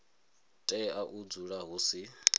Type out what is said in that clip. tea u dzula hu si